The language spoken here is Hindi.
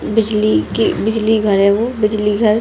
बिजली की बिजली घर है वो बिजली घर।